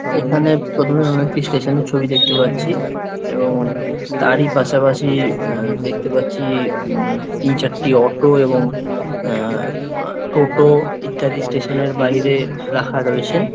এখানে প্রথমে আমরা একটি স্টেশন এর ছবি দেখতে পাচ্ছি এবং তার- ই পাশাপাশি এ- দেখতে পাচ্ছি - ই- উম- তিন চারটি অটো এবংএ- এ টোটো ইত্যাদি স্টেশন এর বাইরে রাখা রয়েছে।